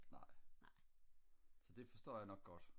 nej så det forstår jeg nok godt